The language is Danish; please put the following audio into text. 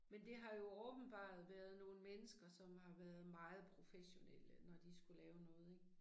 Men det har jo åbenbaret været nogle mennesker som har været meget professionelle når de skulle lave noget ik